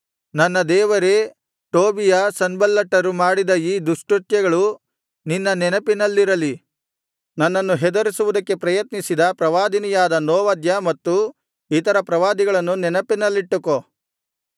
ನನ್ನ ದೇವರೇ ಟೋಬೀಯ ಸನ್ಬಲ್ಲಟರು ಮಾಡಿದ ಈ ದುಷ್ಕೃತ್ಯಗಳು ನಿನ್ನ ನೆನಪಿನಲ್ಲಿರಲಿ ನನ್ನನ್ನು ಹೆದರಿಸುವುದಕ್ಕೆ ಪ್ರಯತ್ನಿಸಿದ ಪ್ರವಾದಿನಿಯಾದ ನೋವದ್ಯ ಮತ್ತು ಇತರ ಪ್ರವಾದಿಗಳನ್ನು ನೆನಪಿನಲ್ಲಿಟ್ಟುಕೋ